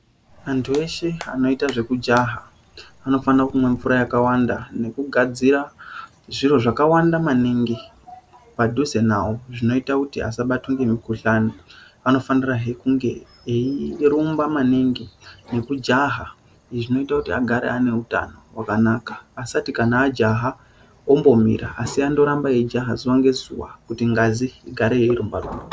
Antu eshe anoyita zvekujaha, anofanira kumwa mvura yakawanda nekugadzira zviro zvakawanda maningi padhuze navo ,zvinoita kuti asabatwa ngemukuhlani, anofanirahe kunge eyirumba maningi nekujaha ,izvo zvinoita kuti agare aneutano hwakanaka asati kana ajaha ombomira, asi andoramba eyi jaha zuwa ngezuwa kuti ngazi igare yeirumba rumba.